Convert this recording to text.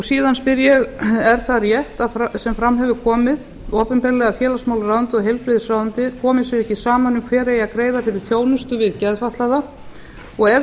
síðan spyr ég er það rétt sem fram hefur komið opinberlega að félagsmálaráðuneytið og heilbrigðisráðuneytið komi sér ekki saman um hver eigi að greiða fyrir þjónustu við geðfatlaða og ef